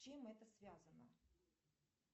с чем это связано